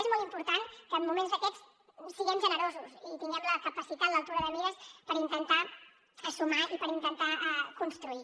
és molt important que en moments d’aquests siguem generosos i tinguem la capacitat l’altura de mires per intentar sumar i per intentar construir